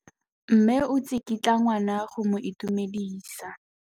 Mme o tsikitla ngwana go mo itumedisa.